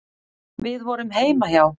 Við vorum heima hjá